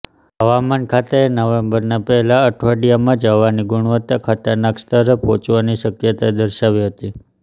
હવામાનખાતાએ નવેમ્બરનાં પહેલા અઠવાડિયામાં જ હવાની ગુણવત્તા ખતરનાક સ્તરે પહોંચવાની શક્યતા દર્શાવી હતી